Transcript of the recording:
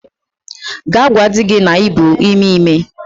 Gaa gwa di gi na i bu ime ime!